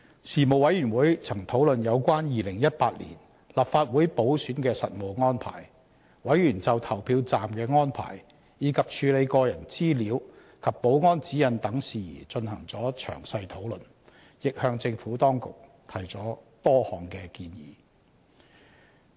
事務委員會曾討論有關2018年立法會補選的實務安排，委員就投票站的安排，以及處理個人資料及保安指引等事宜進行了詳細討論，亦向政府當局提出了多項的建議。